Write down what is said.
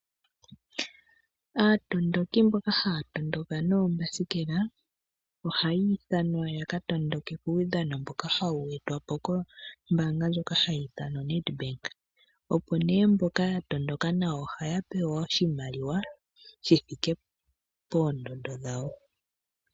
Aatondoki mboka haya tondoka noombasikela ohayi ithanwa ya ka tondoke kuudhano mboka hawu e twa po kombaanga ndjika hayi ithanwa Nedbank, opo nee mboka ya tondoka nawa ohaya pewa oshimaliwa shi thike poondondo dhawo.